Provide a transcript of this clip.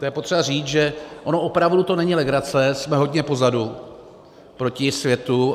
To je potřeba říct, že ono opravdu to není legrace, jsme hodně pozadu proti světu.